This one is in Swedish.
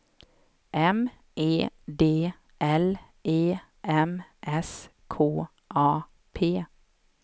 M E D L E M S K A P